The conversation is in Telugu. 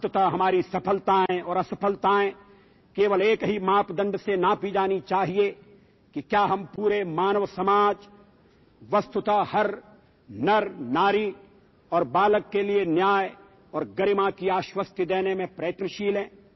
చివరికి మన విజయాలు పరాజయాలను కేవలం ఒకే అంశం ఆధారంగా లెక్కించాలి అదేంటంటే నిజంగా మనం మొత్తం మానవ సమాజాన్ని అంటే ప్రతి ఒక్క పురుషుడు స్త్రీ పిల్లవాడు లేదా పిల్లకి సంపూర్ణమైన న్యాయం చెయ్యడానికి వాళ్ల జీవితాల్లోంచి బీదరికాన్ని పారద్రోలడానికి పూర్తి ప్రయత్నం చెయ్యగలుగుతున్నామా అన్నదే ఆ అంశం